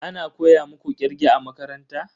Ana koya muku kirge a makaranta?